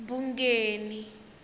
bungeni